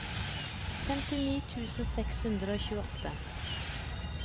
femtini tusen seks hundre og tjueåtte